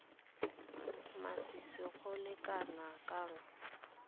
masisi go le kana kang